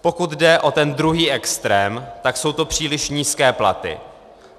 Pokud jde o ten druhý extrém, tak jsou to příliš nízké platy.